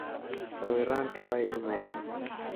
Sawiranti way dumeen.